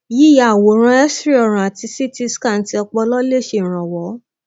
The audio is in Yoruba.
yíya àwòrán xray ọrùn àti ct scan ti ọpọlọ lè ṣèrànwọ